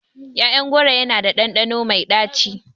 ƴaƴan goro yana da ɗanɗano mai ɗaci.